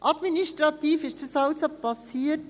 Administrativ ist dies also erfolgt.